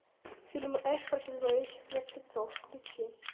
фильм эш против зловещих мертвецов включи